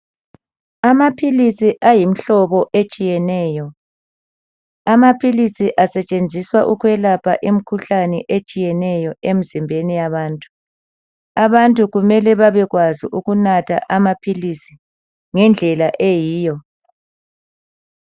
Amaphilisi ayimhlobo etshiyeneyo. Amaphilisi asetshenziswa ukwelapha imikhuhlane etshiyeneyo emzimbeni yabantu. Abantu kumele babekwazi ukunatha amaphilisi ngendlela eyiyo.